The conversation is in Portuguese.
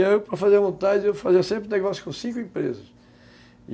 E eu, para fazer vontade, eu fazia sempre negócio com cinco empresas.